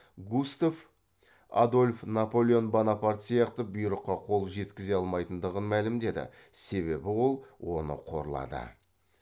густав адольф наполеон бонапарт сияқты бұйрыққа қол жеткізе алмайтындығын мәлімдеді себебі ол оны қорлады